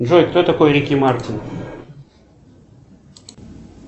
джой кто такой рики мартин